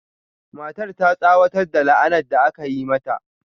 Matar ta tsawatar da la'anar da aka yi mata.